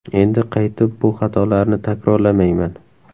Endi qaytib bu xatolarni takrorlamayman.